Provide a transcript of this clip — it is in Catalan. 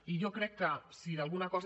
i jo crec que si d’alguna cosa